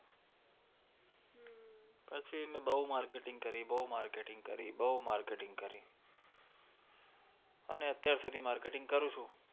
પછી મેં બહું marketing કરી, બહું marketing કરી, બહું marketing કરી અને અત્યાર સુુુુધી marketing કરું છું.